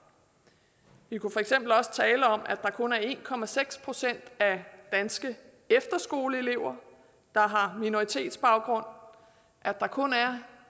vi kunne for eksempel også tale om at der kun er en procent af danske efterskoleelever der har minoritetsbaggrund at der kun er